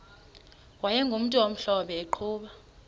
wayegumntu omhlophe eqhuba